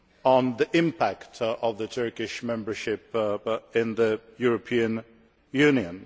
of the impact of Turkish membership on the European Union.